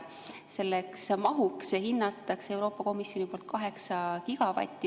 Selleks mahuks hindab Euroopa Komisjon 8 gigavatti.